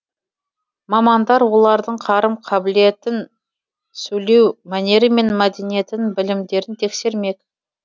мамандар олардың қарым қабілетін сөйлеу мәнері мен мәдениетін білімдерін тексермек